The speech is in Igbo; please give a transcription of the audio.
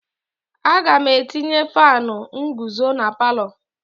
Aga m etinye faanụ nguzo na palọ.